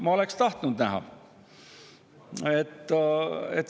Ma oleksin tahtnud näha.